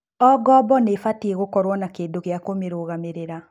O ngombo nĩ ĩbatie gũkorũo na kĩndũ kĩa kũmĩrũgamĩrĩra.